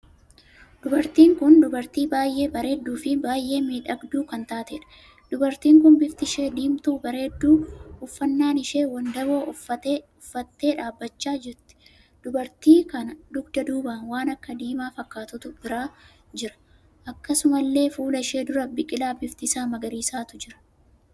Dubartiin kun dubartii baay'ee bareedduu fi baay'ee miidhagduu kan taateedha. dubartiin kun bifti ishee diimtuu bareedduu uffannaan ishee wandaboo uffatee dhaabbachaa jirti. dubartii kana dugda duuba waan akka diimaa fakkaatutu biraa jira. akkasullee fuula ishee dura biqilaa bifti isaa magariisatu jira.